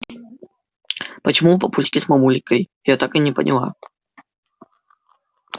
почему у папульки с мамулькой я так и не поняла